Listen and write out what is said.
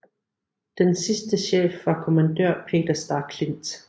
Den sidste chef var kommandør Per Starklint